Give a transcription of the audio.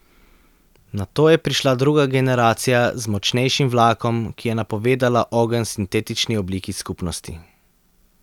Nato je prišla druga generacija z močnejšim vlakom, ki je napovedala ogenj sintetični obliki skupnosti.